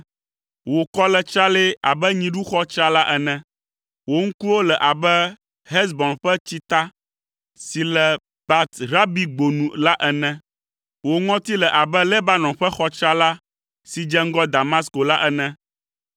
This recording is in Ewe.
Wò kɔ le tsralɛ abe nyiɖuxɔ tsrala ene. Wò ŋkuwo le abe Hesbon ƒe tsita si le Bat Rabingbo nu la ene. Wò ŋɔti le abe Lebanon ƒe xɔ tsrala si dze ŋgɔ Damasko la ene.